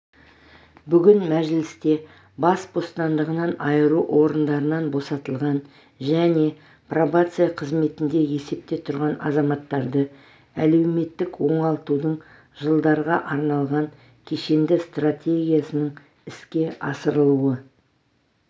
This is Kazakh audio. бүгін мәжілісте бас бостандығынан айыру орындарынан босатылған және пробация қызметінде есепте тұрған азаматтарды әлеуметтік оңалтудың жылдарға арналған кешенді стратегиясының іске асырылуы